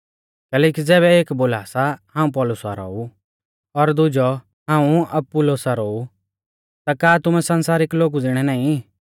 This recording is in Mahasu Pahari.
कैलैकि ज़ैबै एक बोला सा हाऊं पौलुसा रौ ऊ और दुजौ हाऊं अपुल्लोसा रौ ऊ ता का तुमै संसारिक लोगु ज़िणै नाईं